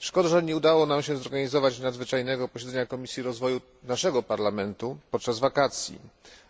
Szkoda, że nie udało nam się zorganizować nadzwyczajnego posiedzenia Komisji Rozwoju naszego parlamentu podczas wakacji,